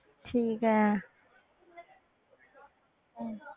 ਠੀਕ ਹੈ ਹਮ